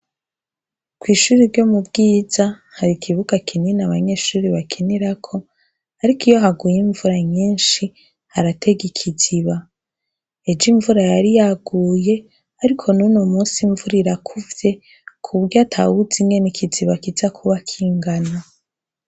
Kw'ishure ryo mu Bwiza hari ikibuga kinini abanyeshure bakinirako, ariko iyo haguye imvura nyishi haratega ikiziba. Ejo imvura yari yaguye, ariko n'ubu imvura irakuvye ku buryo atawuzi ingene ikiziba kija kuba kingana.